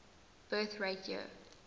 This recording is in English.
birth rate year